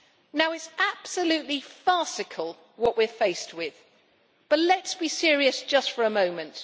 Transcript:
Now it is absolutely farcical what we are faced with, but let's be serious just for a moment.